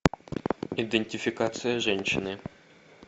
идентификация женщины